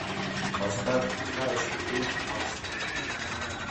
поставь знаешь ли ты максим